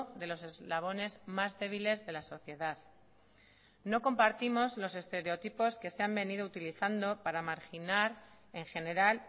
de los eslabones más débiles de la sociedad no compartimos los estereotipos que se han venido utilizando para marginar en general